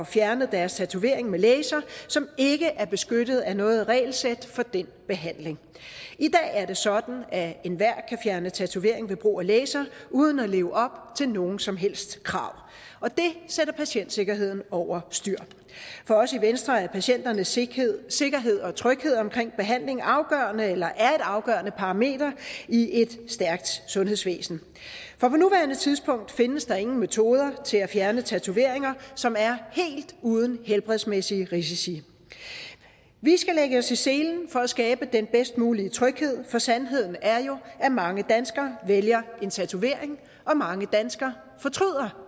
fjernet deres tatovering med laser som ikke er beskyttet af noget regelsæt for den behandling i dag er det sådan at enhver kan fjerne tatovering ved brug af laser uden at leve op til nogen som helst krav og det sætter patientsikkerheden over styr for os i venstre er patienternes sikkerhed og tryghed omkring behandling afgørende eller er et afgørende parameter i et stærkt sundhedsvæsen på nuværende tidspunkt findes der ingen metoder til at fjerne tatoveringer som er helt uden helbredsmæssige risici vi skal lægge os i selen for at skabe den bedste mulige tryghed for sandheden er jo at mange danskere vælger at få en tatovering og at mange danskere fortryder